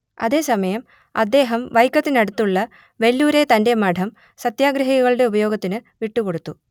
അതേസമയം അദ്ദേഹം വൈക്കത്തിനടുത്തുള്ള വെല്ലൂരെ തന്റെ മഠം സത്യാഗ്രഹികളുടെ ഉപയോഗത്തിന് വിട്ടുകൊടുത്തു